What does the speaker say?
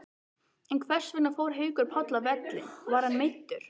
En hversvegna fór Haukur Páll af velli, var hann meiddur?